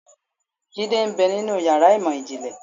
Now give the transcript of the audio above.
Jidé ń bẹ́ ninú ìyára imọ jinlẹ